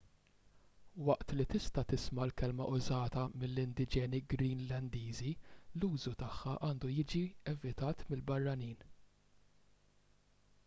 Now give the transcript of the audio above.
waqt li tista' tisma' l-kelma użata mill-indiġeni greenlandiżi l-użu tagħha għandu jiġi evitat mill-barranin